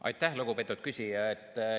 Aitäh, lugupeetud küsija!